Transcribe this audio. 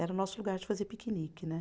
Era o nosso lugar de fazer piquenique, né.